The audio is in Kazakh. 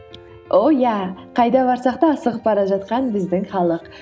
о иә қайда барсақ та асығып бара жатқан біздің халық